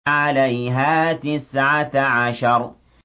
عَلَيْهَا تِسْعَةَ عَشَرَ